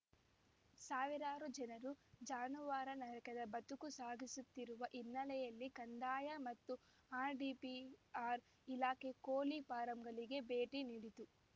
ಸಾವಿರಾರು ಜನರು ಜಾನುವಾರು ನರಕದ ಬದುಕು ಸಾಗಿಸುತ್ತಿರುವ ಹಿನ್ನೆಲೆಯಲ್ಲಿ ಕಂದಾಯ ಮತ್ತು ಆರ್‌ಡಿಪಿಆರ್‌ ಇಲಾಖೆ ಕೋಳಿ ಫಾರಂಗಳಿಗೆ ಭೇಟಿ ನೀಡಿತು